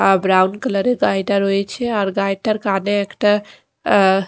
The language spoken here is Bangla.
আ ব্রাউন কালারের গাড়িটা রয়েছে আর গাড়িটার কানে একটা --